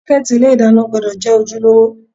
Sọ́kẹ́tì ilé ìdáná gbúdọ̀ jẹ́ ojúlówó.